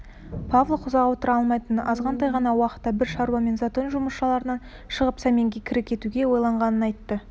павлов ұзақ отыра алмайтынын азғантай ғана уақытқа бір шаруамен затон жұмысшыларынан шығып сәменге кіре кетуге ойлағанын айтты